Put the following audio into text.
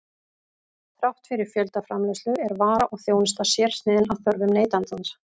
Þrátt fyrir fjöldaframleiðslu er vara og þjónusta sérsniðin að þörfum neytandans.